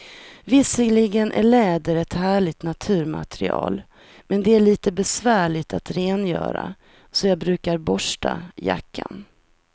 Visserligen är läder ett härligt naturmaterial, men det är lite besvärligt att rengöra, så jag brukar borsta jackan.